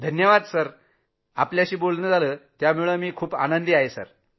धन्यवाद जी धन्यवाद । आपल्याशी बोलणं झालं यामुळे आम्ही अत्यंत आनंदी आहोत